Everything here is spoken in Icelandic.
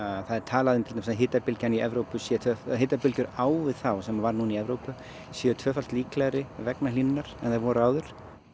það er tala um að í Evrópu sé hitabylgjur á við þá sem var núna í Evrópu séu tvöfalt líklegri vegna hlýnunar en þær voru áður